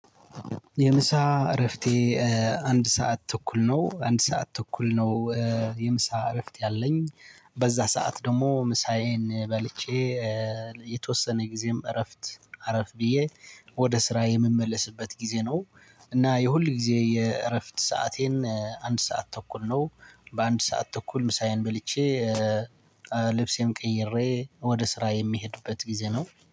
የምሳ እረፍቴ አንድ ሰዓት ተኩል ነው አንድ ሰዓት ተኩል ነው። የምሳ እረፍት ያለኝ በዛ ሰዓት ደግሞ ምሳዬን በልቼ። የተወሰነ ጊዜም እረፍት አረፍ ብዬ ወደ ስራ የምመለስበት ጊዜ ነው። እና የሁል ጊዜ የእረፍት ሰዓቴ አንድ ሰዓት ተኩል ነው። በአንድ ሰዓት ተኩል ምሳዬን በልቼ። ልብሴን ቀይሬ ወደ ስራ የሚሄድበት ጊዜ ነው